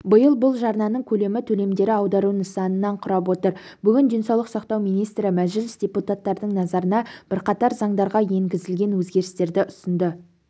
биыл бұл жарнаның көлемі төлемдері аудару нысанынан құрап отыр бүгін денсаулық сақтау министрі мәжіліс депутаттардың назарына бірқатар заңдарға енгізілген өзгерістерді ұсынды